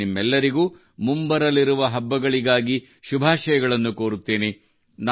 ನಾನು ನಿಮ್ಮೆಲ್ಲರಿಗೂ ಮುಂಬರಲಿರುವ ಹಬ್ಬಗಳಿಗಾಗಿ ಶುಭಾಶಯಗಳನ್ನು ಕೋರುತ್ತನೆ